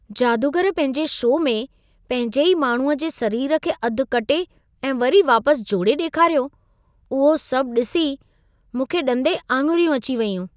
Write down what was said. जादूगर पंहिंजे शो में, पंहिंजे ई माण्हूअ जे सरीर खे अधु कटे ऐं वरी वापसि जोड़े ॾेखारियो। उहो सभु ॾिसी मूंखे ॾंदे आङिरियूं अची वयूं।